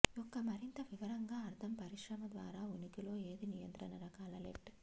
యొక్క మరింత వివరంగా అర్థం పరిశ్రమ ద్వారా ఉనికిలో ఏది నియంత్రణ రకాల లెట్